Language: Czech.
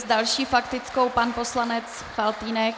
S další faktickou pan poslanec Faltýnek.